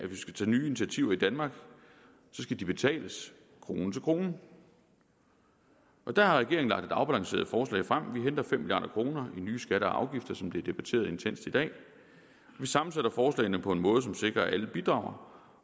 vi skal tage nye initiativer i danmark skal de betales krone til krone der har regeringen lagt et afbalanceret forslag frem vi henter fem milliard kroner i nye skatter og afgifter som det er blevet debatteret intenst i dag vi sammensætter forslagene på en måde som sikrer at alle bidrager